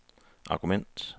argument